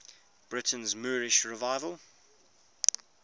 britain's moorish revival